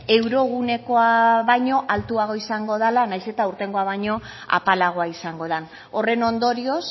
eurogunekoa baino altuagoa izango dala nahiz eta aurtengoa baino apalagoa izango dan horren ondorioz